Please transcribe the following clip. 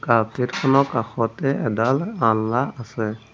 Carpet খনৰ কাষতে এডাল আলনা আছে।